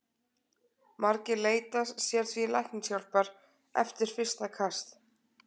Margir leita sér því læknishjálpar eftir fyrsta kast.